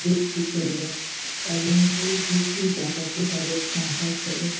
বিক্রি করবেন এবং এই বিক্রি টাকাতে তাদের সংসার চলে।